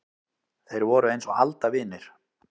Þeir voru eins og aldavinir.